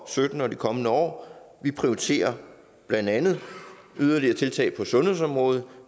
og sytten og de kommende år vi prioriterer blandt andet yderligere tiltag på sundhedsområdet